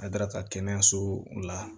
A daraka kɛnɛyaso la